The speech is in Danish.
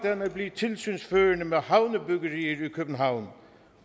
han at blive tilsynsførende med havnebyggerier i københavn